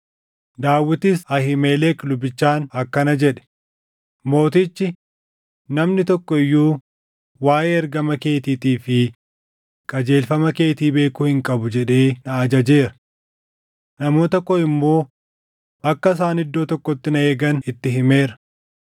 Daawitis Ahiimelek lubichaan akkana jedhe; “Mootichi, ‘Namni tokko iyyuu waaʼee ergama keetiitii fi qajeelfama keetii beekuu hin qabu’ jedhee na ajajeera. Namoota koo immoo akka isaan iddoo tokkotti na eegan itti himeera.